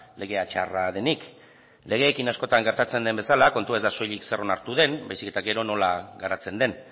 legea txarra denik legeekin askotan gertatzen den bezala kontua ez da soilik zer onartu den baizik eta gero nola garatzen den